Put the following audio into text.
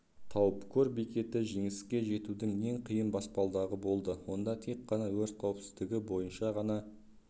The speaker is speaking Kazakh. тауып көр бекеті жеңісеке жетудің ең қиын баспалдағы болды онда тек қана өрт қауіпсіздігі бойынша ғана